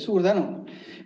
Suur tänu!